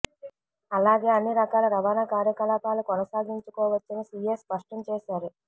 అలాగే అన్ని రకాల రవాణా కార్యకలాపాలు కొనసాగించుకోవచ్చని సీఎస్ స్పష్టం చేశారు